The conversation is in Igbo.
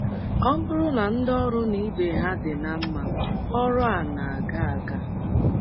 Ọ bụrụ na ndị ọrụ na ibe ha dị ná mma, ọrụ a na - aga aga.